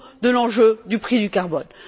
à l'enjeu du prix du carbone.